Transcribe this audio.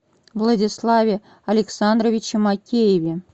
владиславе александровиче макееве